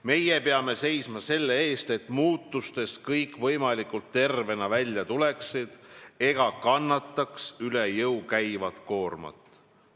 Meie peame seisma selle eest, et muutustest kõik võimalikult tervena välja tuleksid ega kannaks üle jõu käivat koormat.